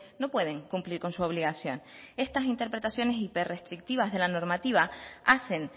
no pueden cumplir con su obligación estas interpretaciones hiper restrictivas de la normativa hacen